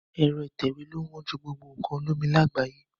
Aró ìtẹ̀wé lo wón jù nínú gbogbo nkàn olómi làgbáyé